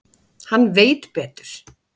Hann veit betur.